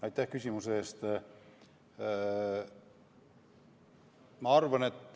Aitäh küsimuse eest!